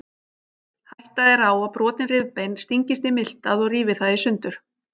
Hætta er á að brotin rifbein stingist í miltað og rífi það í sundur.